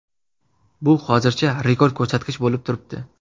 Bu hozircha rekord ko‘rsatkich bo‘lib turibdi.